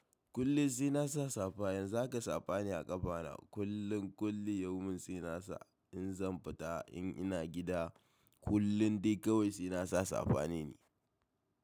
Kullum sai na sa safa. Yanzu haka safa ne a ƙafana. Kullun kullum yawmin sai nasa in zan fita, in ina gida, kullum dai kawai sai nasa safa ne ni.